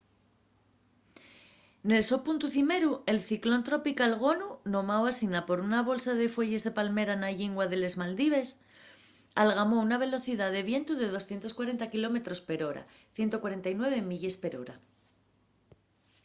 nel so puntu cimeru el ciclón tropical gonu nomáu asina por una bolsa de fueyes de palmera na llingua de les maldives algamó una velocidá de vientu de 240 kilómetros per hora 149 milles per hora